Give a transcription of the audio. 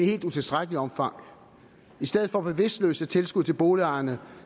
helt utilstrækkeligt omfang i stedet for bevidstløse tilskud til boligejerne